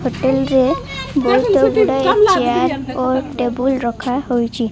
Hotel ରେ ବହୁତ ଗୁଡ଼ାଏ ଚେୟାର ଓ ଟେବୁଲ ରଖାହୋଇଚି।